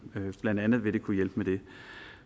blandt andet vil det kunne hjælpe med det